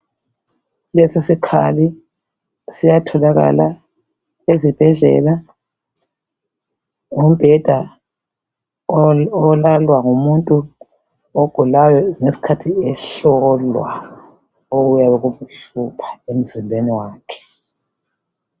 Lesisikhali siyatholakala ezibhedlela. Ngumbheda olalwa ngumuntu ogulayo ngesikhathi ehlolwa okuyabe kubuhlungu emzimbeni wakhe